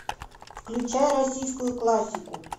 включай российскую классику